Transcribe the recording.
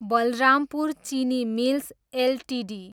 बलरामपुर चिनी mills Ltd